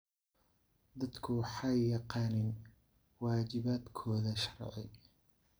Dadku waxay yaqaaniin waajibaadkooda sharci.